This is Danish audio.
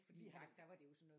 Vi har